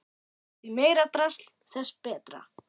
Því meira drasl þess betra.